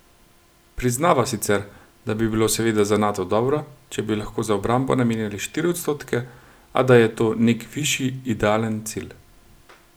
Priznava sicer, da bi bilo seveda za Nato dobro, če bi lahko za obrambo namenjali štiri odstotke, a da je to nek višji, idealen cilj.